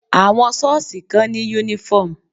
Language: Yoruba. Àwọn sọ́ọ̀sì kan ní uniform.